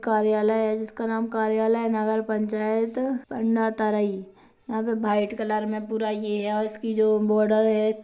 कार्यालय है जिसका नाम कार्यालय नगर पंचायत पांडातराई यहाँ पे वाइट कलर में पूरा ये है और इसकी जो बॉर्डर है।